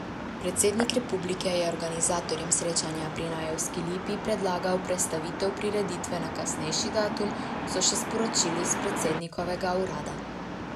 Predsednik republike je organizatorjem srečanja pri Najevski lipi predlagal prestavitev prireditve na kasnejši datum, so še sporočili s predsednikovega urada.